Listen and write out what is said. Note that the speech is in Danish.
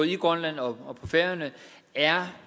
i grønland og på færøerne er